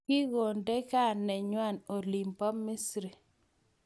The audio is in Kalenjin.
Kikunde gaa nengwa oliin bo Misri.